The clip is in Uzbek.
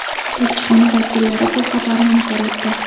Elchixona vakillari bu xabarni inkor etdi.